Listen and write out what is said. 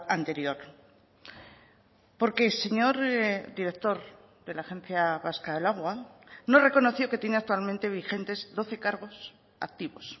anterior porque e señor director de la agencia vasca del agua no reconoció que tiene actualmente vigentes doce cargos activos